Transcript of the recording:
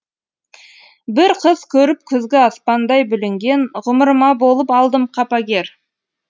бір қыз көріп күзгі аспандай бүлінген ғұмырыма болып алдым қапагер